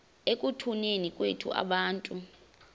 ekutuneni kwethu abantu